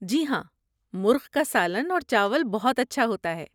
جی ہاں، مرغ کا سالن اور چاول بہت اچھا ہوتا ہے۔